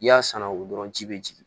I y'a sanu dɔrɔn ji bɛ jigin